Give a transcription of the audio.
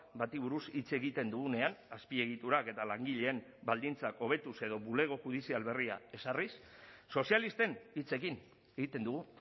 bati buruz hitz egiten dugunean azpiegiturak eta langileen baldintzak hobetuz edo bulego judizial berria ezarriz sozialisten hitzekin egiten dugu